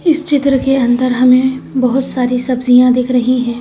इस चित्र के अंदर हमें बहुत सारी सब्जियां दिख रही हैं।